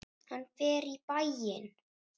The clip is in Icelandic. Hann fer í bæinn!